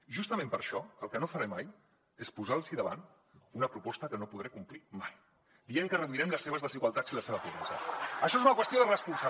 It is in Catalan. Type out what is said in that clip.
justament per això el que no faré mai és posar los davant una proposta que no podré complir mai dient que reduirem les seves desigualtats i la seva pobresa